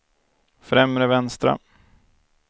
främre vänstra